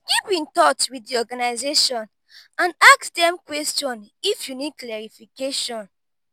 keep in touch with the organisation and ask dem question if you need clarification